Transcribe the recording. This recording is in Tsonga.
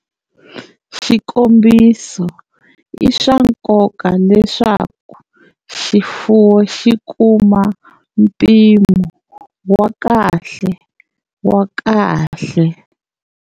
Xikombiso, i swa nkoka leswaku xifuwo xi kuma mpimo wa kahle wa kahle.